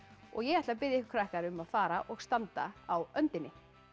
ég ætla að biðja ykkur um að fara og standa á öndinni